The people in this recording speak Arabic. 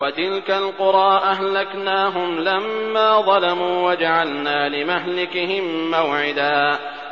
وَتِلْكَ الْقُرَىٰ أَهْلَكْنَاهُمْ لَمَّا ظَلَمُوا وَجَعَلْنَا لِمَهْلِكِهِم مَّوْعِدًا